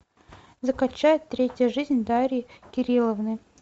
закачай третья жизнь дарьи кирилловны